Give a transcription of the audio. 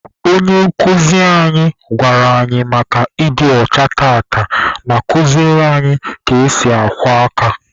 Onye nkuzi anyị gwara anyị maka ịdị ọcha tata, ma kuziere anyị ka esi akwọ aka.